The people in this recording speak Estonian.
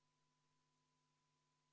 Palun võtta seisukoht ja hääletada!